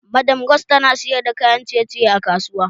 Madam rose tana sayar da kayan ciye ciye a kasuwa